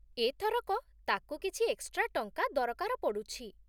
ଏଥରକ, ତାକୁ କିଛି ଏକ୍ସଟ୍ରା ଟଙ୍କା ଦରକାର ପଡ଼ୁଛି